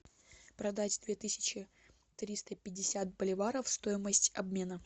продать две тысячи триста пятьдесят боливаров стоимость обмена